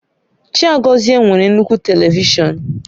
Chiagozie nwere nnukwu Televishọn